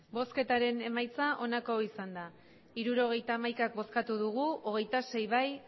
hirurogeita hamaika eman dugu bozka hogeita sei bai